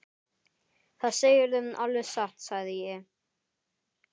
Það segirðu alveg satt, sagði ég.